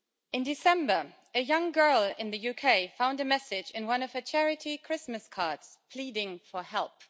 In December, a young girl in the UK found a message in one of her charity Christmas cards pleading for help.